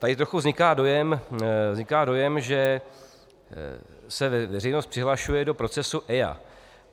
Tady trochu vzniká dojem, že se veřejnost přihlašuje do procesu EIA.